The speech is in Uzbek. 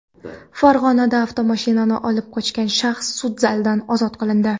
Farg‘onada avtomashinani olib qochgan shaxs sud zalidan ozod qilindi.